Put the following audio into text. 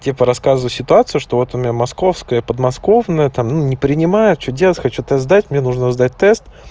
типа рассказываю ситуацию что вот у меня московская подмосковное там ну не принимают что хочу тест сдать мне нужно сдать тест